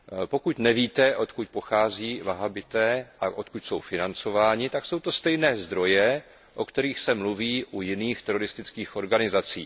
Pokud nevíte, odkud pochází vahábité a odkud jsou financováni, tak je to ze stejných zdrojů, o kterých se mluví u jiných teroristických organizací.